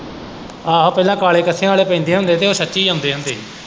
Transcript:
ਆਹੋ ਪਹਿਲਾਂ ਕਾਲੇ ਕੱਸਿਆਂ ਆਲੇ ਪੈਂਦੇ ਹੁੰਦੇ ਹੀ ਤੇ ਉਹ ਸੱਚੀ ਆਉਂਦੇ ਹੁੰਦੇ ਹੀ।